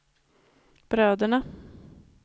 bröderna